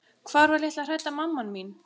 Hvar var litla hrædda mamman mín?